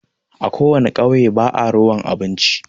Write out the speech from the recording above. A Ko wana ƙauye ba'a rowan abinci.